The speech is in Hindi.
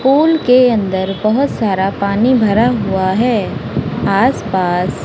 पुल के अंदर बहुत सारा पानी भरा हुआ है आसपास--